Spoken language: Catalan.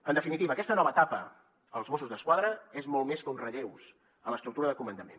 en definitiva aquesta nova etapa als mossos d’esquadra és molt més que uns relleus a l’estructura de comandament